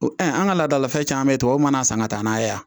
O an ka laadalafɛn caman beyi tubabu mana san ka taa n'a ye yan